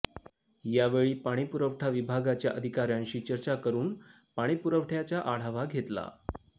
यावेळी पाणीपुरवठा विभागाच्या अधिकाऱ्यांशी चर्चा करून पाणीपुरवठ्याचा आढावा घेतला